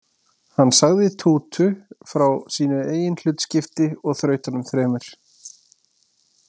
Hann sagði Tútu frá sínu eigin hlutskipti og þrautunum þremur.